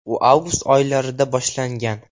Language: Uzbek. U avgust oylarida boshlangan.